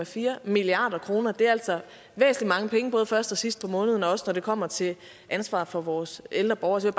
fire milliard kr og det er altså mange penge både først og sidst på måneden og også når det kommer til ansvaret for vores ældre borgere så